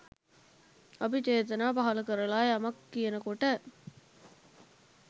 අපි චේතනා පහළ කරලා යමක් කියන කොට